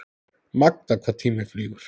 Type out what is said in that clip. Magnað hvað tíminn flýgur?